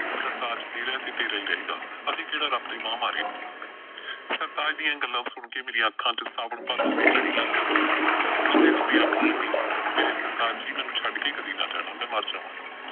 ਸਰਤਾਜ ਤੇਰਾ ਐ ਤੇ ਤੇਰਾ ਈ ਰਹੇਗਾ ਅਸੀਂ ਕਿਹੜਾ ਰੱਬ ਦੇ ਮਾਂਹ ਮਾਰੇ ਨੇ। ਸਰਤਾਜ ਦੀਆਂ ਇਹ ਗੱਲਾਂ ਸੁਣ ਕੇ ਮੇਰੀਆਂ ਅੱਖਾਂ ਚੋਂ ਸਾਵਣ ਭਾਦੋਂ ਦੀ ਝੜੀ ਲੱਗ ਜਾਂਦੀ ਸੀ। ਰੋਂਦੀ ਰੋਂਦੀ ਆਖਣ ਲੱਗੀ ਮੇਰੇ ਸਰਤਾਜ ਜੀ ਮੈਨੂੰ ਛੱਡ ਕੇ ਕਦੀ ਨਾ ਜਾਣਾ ਮੈਂ ਮਰ ਜਾਵਾਂਗੀ।